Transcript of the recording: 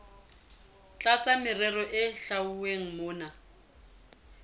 tlasa merero e hlwauweng mona